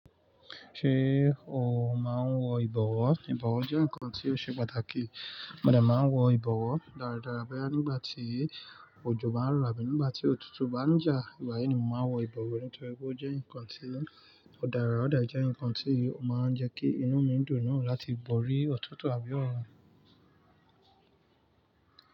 Ṣé o máa ń wọ ìbọ̀wọ́? Ìbọ̀wọ́ jẹ́ nǹkan tí ó ṣe pàtàkì. Mo de máa ń wọ ìbọ̀wọ́. Dáríádára, boyaa nígbàtí òjò bá ń rọ̀ àbí nígbà tí ọ̀tútù bá ń jà, igba yii ni mo máa ń wọ ìbọ̀wọ́ nítorí pé ó jẹ́ nǹkan tí ó dára, ó de je nǹkan tí ó máa ń jẹ́ kí inú mi dùn láti bọ̀ ó rí ọ̀tọ̀ọ̀tọ̀ àbí ọ̀rùn.